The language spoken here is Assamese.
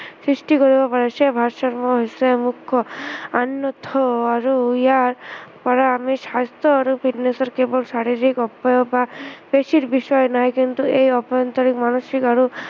সৃষ্টি কৰিব পাৰিছে হৈছে মুখ্য় অন্য়থাই আৰু ইয়াৰ পৰা আমি স্ৱাস্থ্য় আৰু fitness কেৱল শাৰিৰীক উপায় বা বেছি বিছৰা নাই কিন্তু এই আভ্য়ন্তৰিক, মানসিক আৰু